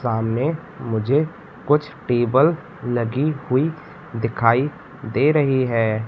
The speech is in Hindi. सामने मुझे कुछ टेबल लगी हुई दिखाई दे रही है।